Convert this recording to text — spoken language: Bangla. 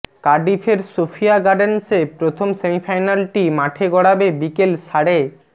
কার্ডিফের সোফিয়া গার্ডেন্সে প্রথম সেমিফাইনালটি মাঠে গড়াবে বিকেল সাড়ে